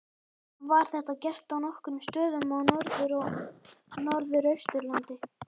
Var þetta gert á nokkrum stöðum á Norður- og Norðausturlandi.